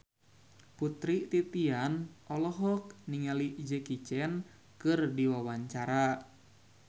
Putri Titian olohok ningali Jackie Chan keur diwawancara